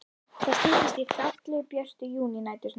Það styttist í fallegu, björtu júnínæturnar.